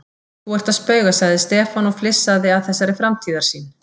Þú ert að spauga sagði Stefán og flissaði að þessari framtíðarsýn.